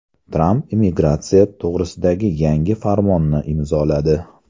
Tramp immigratsiya to‘g‘risidagi yangi farmonni imzoladi.